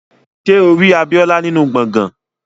Ṣé o rí Abíọ́lá nínú gbọ̀ngán?